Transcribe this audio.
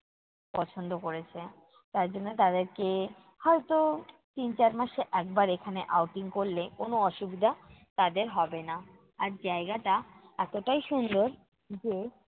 পছন্দ করেছে। তার জন্য তাদেরকে হয়ত তিন-চার মাসে একবার এখানে outing করলে, কোনো অসুবিধা তাদের হবে না। আর জায়গাটা এতটাই সুন্দর যে,